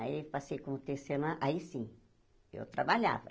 Aí passei como Tecelã, aí sim, eu trabalhava.